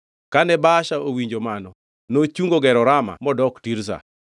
Kane Baasha owinjo mano, nochungo gero Rama modok Tirza.